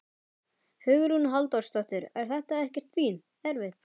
Hugrún Halldórsdóttir: Er þetta ekkert erfitt?